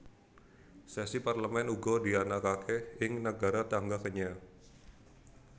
Sesi Parlemen uga dianakaké ing nagara tangga Kenya